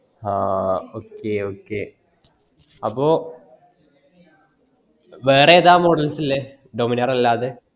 അഹ് okay okay അപ്പോ വേറെ ഏതാ models ഇല്ലേ Dominar അല്ലാതെ